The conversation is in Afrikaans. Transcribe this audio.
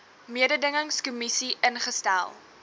mededingings kommissie ingestel